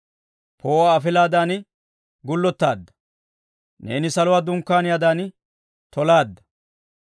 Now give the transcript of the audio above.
Poo'uwaa afilaadan gullotaadda. Neeni saluwaa dunkkaaniyaadan tolaadda.